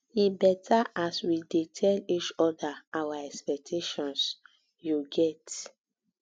e beta as we dey tell each oda our expectations you get